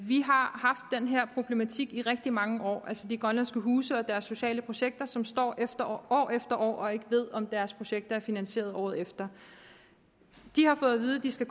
vi har haft den her problematik i rigtig mange år altså de grønlandske huse og deres sociale projekter som står år efter år og ikke ved om deres projekter er finansieret året efter de har fået at vide at de skal